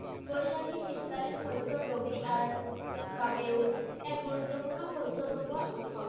বৈশাখী শীতকালীন শস্য় ৰবি আৰ বাবেও এক গুৰুত্বপূৰ্ণ উৎসৱ।